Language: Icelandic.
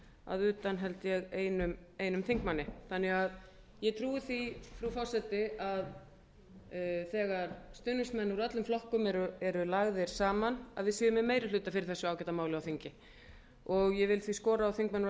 að utan held ég einum þingmanni þannig að ég trúi því frú forseti að þegar stuðningsmenn úr öllum flokkum eru lagðir saman að við séum með meirihluta fyrir þessu ágæta máli á þingi ég vil því skora á þingmenn úr